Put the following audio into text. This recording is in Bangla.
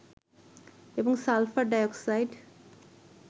এবং সালফার ডাইঅক্সাইড